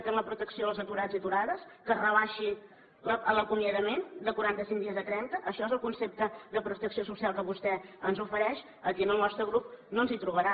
que la protecció als aturats i aturades que es rebaixi l’acomiadament de quarantacinc dies a trenta això és el concepte de protecció social que vostè ens ofereix aquí al nostre grup no ens hi trobarà